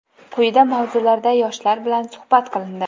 quyidagi mavzularda yoshlar bilan suhbat qilindi:.